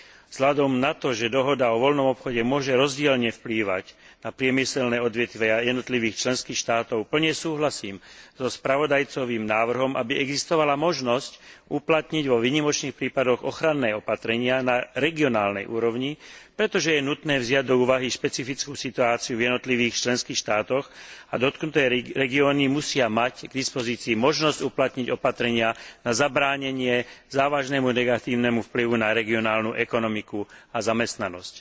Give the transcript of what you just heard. Vzhľadom na to, že dohoda o voľnom obchode môže rozdielne vplývať na priemyselné odvetvia jednotlivých členských štátov, plne súhlasím so spravodajcovým návrhom, aby existovala možnosť uplatniť vo výnimočných prípadoch ochranné opatrenia na regionálnej úrovni, pretože je nutné vziať do úvahy špecifickú situáciu v jednotlivých členských štátoch a dotknuté regióny musia mať k dispozícii možnosť uplatniť opatrenia na zabránenie závažnému negatívnemu vplyvu na regionálnu ekonomiku a zamestnanosť.